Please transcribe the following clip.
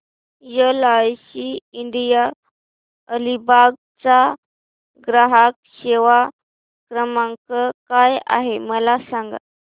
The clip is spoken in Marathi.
एलआयसी इंडिया अलिबाग चा ग्राहक सेवा क्रमांक काय आहे मला सांगा